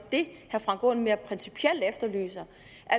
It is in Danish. det herre frank aaen mere principielt efterlyser